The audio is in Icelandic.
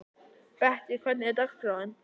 Bettý, hvernig er dagskráin?